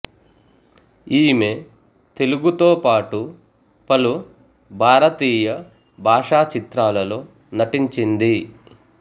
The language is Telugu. ఈమె తెలుగుతో పాటు పలు భారతీయ భాషా చిత్రాలలో నటించింది